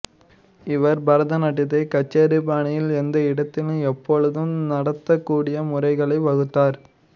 இவர் பரதநாட்டியத்தை கச்சேரி பாணியில் எந்த இடத்திலும் எப்பொழுதும் நடத்தக் கூடிய முறைகளை வகுத்தார்